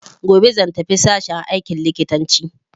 Gobe zan tafi sashen aikin likitanci.